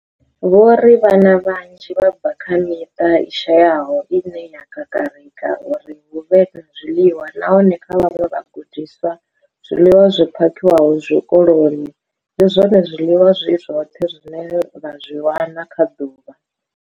Vho ri, Vhana vhanzhi vha bva kha miṱa i shayaho ine ya kakarika uri hu vhe na zwiḽiwa, nahone kha vhaṅwe vhagudiswa, zwiḽiwa zwi phakhiwaho tshikoloni ndi zwone zwiḽiwa zwi zwoṱhe zwine vha zwi wana kha ḓuvha.